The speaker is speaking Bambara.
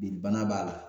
Bi bana b'a la